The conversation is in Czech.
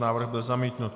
Návrh byl zamítnut.